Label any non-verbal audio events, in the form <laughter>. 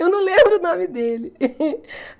Eu não lembro o nome dele. <laughs>